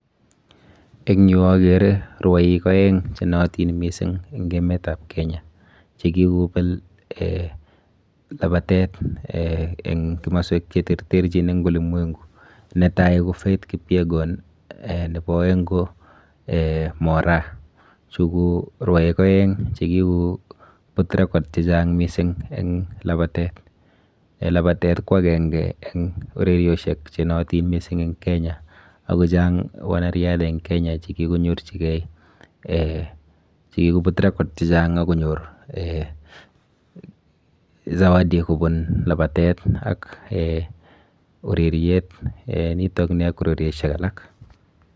Eng yuu okere rwoik oeng chenootin mising en emetab Kenya chekikobel labatet en komoswek cheterterchin en ulimwengu, netai ko Faith kipyegon nebo oeng ko Moraa, chuu ko rwoik oeng chekikobut record chechang mising en labatet, en labatet kwakeng'e en orerioshek che noyotin en Kenya, ak ko chang wanariadha en Kenya chekikonyorchikee chekikobut record chechang ak konyor zawadi kobun labatet ak oreriet nitok AK ureriosiek alak.